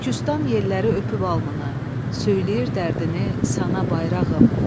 Türkistan yelləri öpüb alnını, söyləyir dərdini sənə bayrağım.